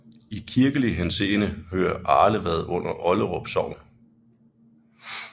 I kirkelig henseende hører Arlevad under Olderup Sogn